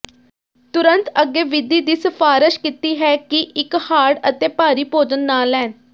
ਤੁਰੰਤ ਅੱਗੇ ਵਿਧੀ ਦੀ ਸਿਫਾਰਸ਼ ਕੀਤੀ ਹੈ ਕਿ ਇੱਕ ਹਾਰਡ ਅਤੇ ਭਾਰੀ ਭੋਜਨ ਨਾ ਲੈਣ